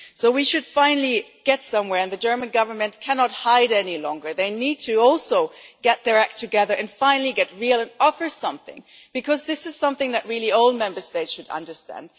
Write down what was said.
So we should finally get somewhere and the German Government cannot hide any longer. They also need to get their act together, finally get real and offer something, because this is something that all Member States should understand.